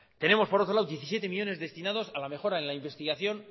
tenemos por otro lado diecisiete millónes destinados a la mejora en la investigación